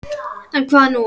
En, hvað nú?